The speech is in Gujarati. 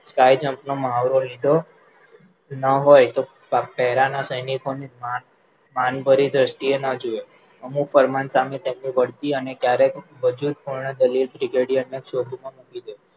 Sky jump નો મહાવરો લીધો લીધો ન હોય તો para ના સૈનિકો ને માન માન ભરી દ્રષ્ટિએ ના જોવે અમુક ફરમાન સામે તેમની બઢતી અને ક્યારેક વજૂદ પૂર્ણ દલીલ પણ brigadier શોધમાં દીધો